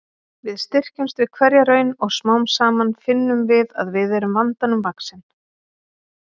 Við styrkjumst við hverja raun og smám saman finnum við að við erum vandanum vaxin.